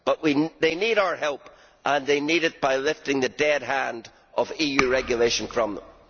However, they need our help and they need it by lifting the dead hand of EU regulation from them.